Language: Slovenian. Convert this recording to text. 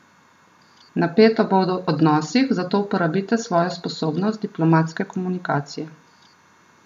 Napeto bo v odnosih, zato uporabite svojo sposobnost diplomatske komunikacije.